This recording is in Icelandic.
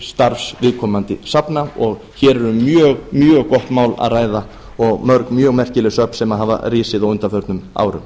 starfs viðkomandi safna og hér er um mjög mjög gott mál að ræða og mörg mjög merkileg söfn sem hafa risið á undanförnum árum